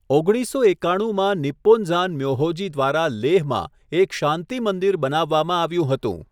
ઓગણીસસો એકાણુંમાં, Nipponzan Myohoji દ્વારા લેહમાં એક શાંતિ મંદિર બનાવવામાં આવ્યું હતું.